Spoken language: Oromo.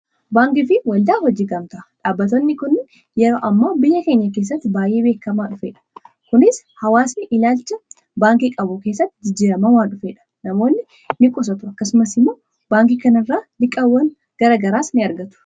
baankii fi waldaan hojii gamtaa dhaabbatotni kun yeroo ammoo biyya keenya keessatti baay'ee beekamaa dhufeedh. kunis hawaasni ilaalcha baankii qabu keessatti jijjirama waan dhufedha. namoonni ni qusatu. akkasumas immoo baankii kanirraa liqaawwan garagaraas ni argatu